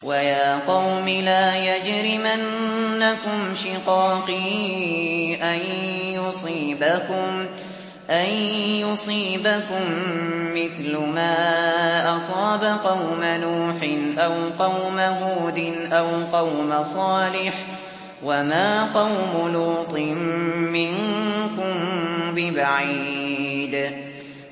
وَيَا قَوْمِ لَا يَجْرِمَنَّكُمْ شِقَاقِي أَن يُصِيبَكُم مِّثْلُ مَا أَصَابَ قَوْمَ نُوحٍ أَوْ قَوْمَ هُودٍ أَوْ قَوْمَ صَالِحٍ ۚ وَمَا قَوْمُ لُوطٍ مِّنكُم بِبَعِيدٍ